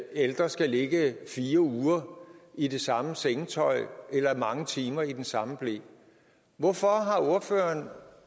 ældre skal ligge fire uger i det samme sengetøj eller mange timer i den samme ble hvorfor har ordføreren